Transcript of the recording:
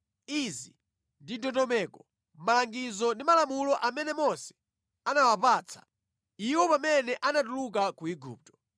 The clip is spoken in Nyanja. Izi ndi ndondomeko, malangizo ndi malamulo amene Mose anawapatsa iwo pamene anatuluka ku Igupto.